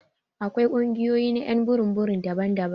Akwai kungiyoyi na y'an burum burum daban-daban.